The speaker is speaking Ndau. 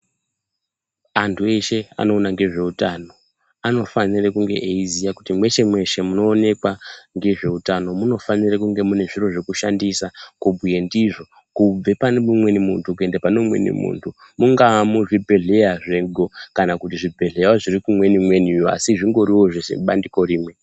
Antu eshe anoona ngezveutano anofanire kunge aiziya kuti mweshe mweshe mwunoonekwa ngezveutano munofanira kunge mune zviro zvekushandisa kunge ndizvo , kubva pane umweni muntu kuenda pane umweni muntu mungaa muzvibhedhlera mwedu kana muzvibhedhlerawo zvimweni asi zvingori zvebandiko rimwe.